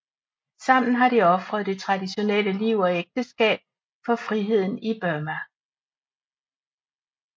Sammen har de ofret det traditionelle liv og ægteskab for friheden i Burma